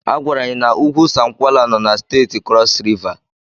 Agwara anyị na ugwu Sankwala no na Steeti Krọs Riva.